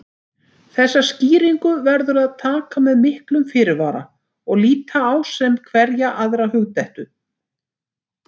Þessari skýringu verður að taka með miklum fyrirvara og líta á sem hverja aðra hugdettu.